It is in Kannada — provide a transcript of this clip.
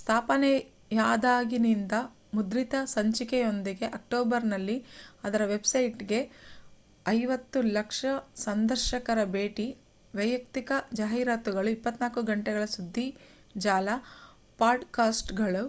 ಸ್ಥಾಪನೆಯಾದಾಗಿನಿಂದ ಮುದ್ರಿತ ಸಂಚಿಕೆಯೊಂದಿಗೆ ಅಕ್ಟೋಬರ್‍‌ನಲ್ಲಿ ಅದರ ವೆಬ್‍‌ಸೈಟ್‍‌ಗೆ 5,000,000 ಸಂದರ್ಶಕರ ಭೇಟಿ ವಯಕ್ತಿಕ ಜಾಹೀರಾತುಗಳು 24 ಗಂಟೆಗಳ ಸುಧ್ದಿಜಾಲ ಪಾಡ್‍‌‍ಕಾಸ್ಟ್‌ಗಳು